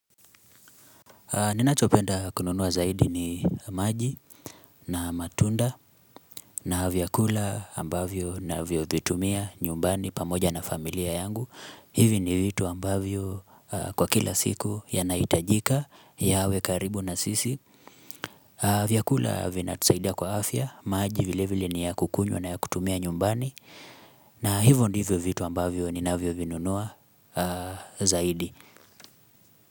Ninachopenda kununua zaidi ni maji na matunda na vyakula ambavyo navyovitumia nyumbani pamoja na familia yangu hivi ni vitu ambavyo kwa kila siku yanahitajika yawe karibu na sisi vyakula vinatusaidia kwa afya, maji vile vile ni ya kukunywa na ya kutumia nyumbani na hivyo ndivyo vitu ambavyo ninavyovinunua zaidi.